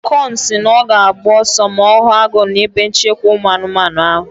Okon si na ọ ga-agba ọsọ ma ọ hụ agụ na ebe nchekwa ụmụ anụmanụ ahụ